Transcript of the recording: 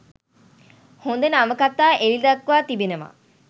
හොඳ නවකතා එළිදක්වා තිබෙනවා.